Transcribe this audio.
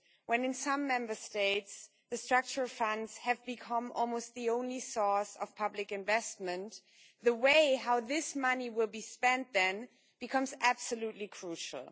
when in some Member States the Structural Funds have become almost the only source of public investment, the way in which this money will be spent becomes absolutely crucial.